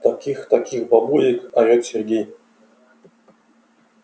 таких таких бабулек орёт сергей